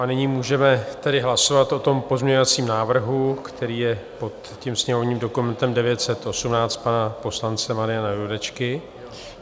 A nyní můžeme tedy hlasovat o tom pozměňovacím návrhu, který je pod tím sněmovním dokumentem 918, pana poslance Mariana Jurečky.